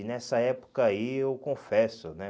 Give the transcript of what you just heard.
E nessa época aí eu confesso, né?